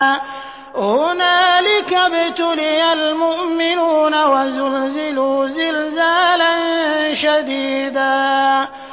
هُنَالِكَ ابْتُلِيَ الْمُؤْمِنُونَ وَزُلْزِلُوا زِلْزَالًا شَدِيدًا